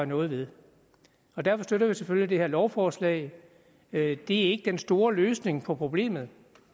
noget ved derfor støtter vi selvfølgelig det her lovforslag det er ikke den store løsning på problemet